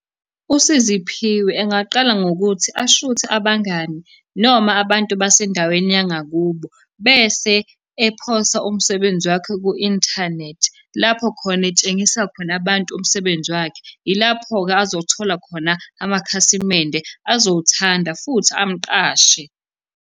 USiziphiwe engaqala ngokuthi ashuthe abangani noma abantu basendaweni yangakubo, bese ephosa umsebenzi wakhe ku-inthanethi lapho khona etshengisa khona abantu umsebenzi wakhe. Ilapho-ke azothola khona amakhasimende azowuthanda, futhi amuqashe.